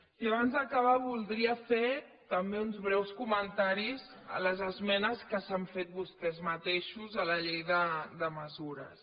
i abans d’acabar voldria fer també uns breus comentaris a les esmenes que s’han fet vostès mateixos a la llei de mesures